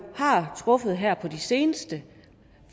har truffet her på det seneste